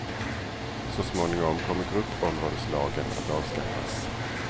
Så småningom kommer gruppområdeslagen att avskaffas.